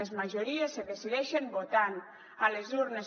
les majories es decideixen votant a les urnes